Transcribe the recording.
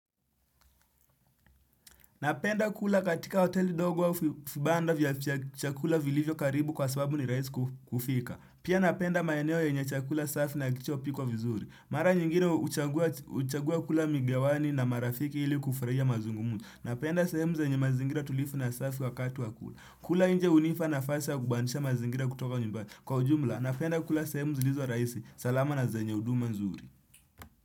Napenda kula katika hoteli dogo au vibanda vya chakula vilivyo karibu kwa sababu ni raisi kufika. Pia napenda maeneo yenye chakula safi na kilicho pikwa vizuri. Mara nyingine huchagua kula migawani na marafiki ili kufraia mazungumuni. Napenda sehemu zenye mazingira tulivu na safi wakati wa kula. Kula inje hunipa nafasi ya kubandisha mazingira kutoka nyumbani. Kwa ujumla, napenda kula sehemu zilizo raisi. Salama na zenye huduma nzuri.